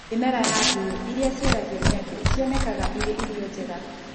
Mĩmera na ngũyũ iria ciaragio nĩ andũ nĩ cionekaga irĩ irio njega.